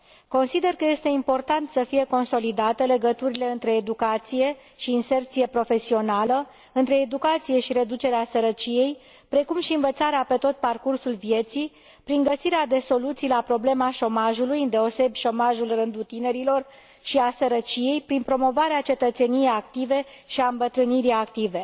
Consider că este important să fie consolidate legăturile între educație și inserție profesională, între educație și reducerea sărăciei, precum și învățarea pe tot parcursul vieții prin găsirea de soluții la problema șomajului, îndeosebi șomajul în rândul tinerilor, și a sărăciei, prin promovarea cetățeniei active și a îmbătrânirii active.